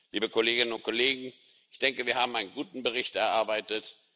Liebe Kolleginnen und Kollegen, ich denke, wir haben einen guten Bericht erarbeitet.